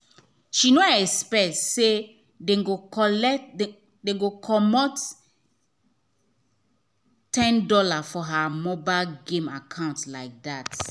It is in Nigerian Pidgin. she no expect say dem go collect dem go comot ten dollar for her mobile game account like that.